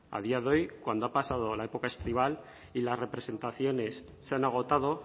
a día doy cuando ha pasado la época estival y las representaciones se han agotado